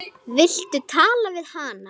Viltu tala við hana?